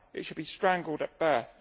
It should be strangled at birth.